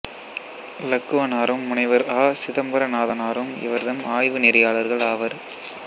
இலக்குவனாரும் முனைவர் அ சிதம்பரநாதனாரும் இவர்தம் ஆய்வு நெறியாளர்கள் ஆவர்